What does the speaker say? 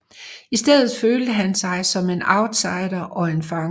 I stedet følte han sig som en outsider og en fange